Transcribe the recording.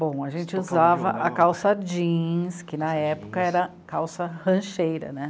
Bom, a gente usava a calça jeans, que na época era calça rancheira, né?